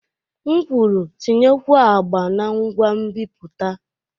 M kwuru, tinyekwuo agba na ngwa nbipute!